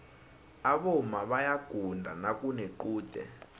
aboma bayaguda nakunequde